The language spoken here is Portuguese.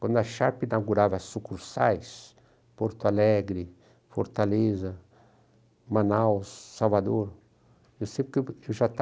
Quando a Sharpe inaugurava sucursais, Porto Alegre, Fortaleza, Manaus, Salvador, eu sempre eu já estava,